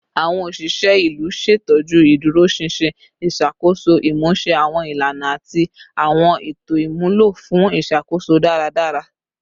Awọn oṣiṣẹ ilu ṣetọju iduroṣinṣin iṣakoso, imuse awọn ilana ati awọn eto imulo fun iṣakoso daradara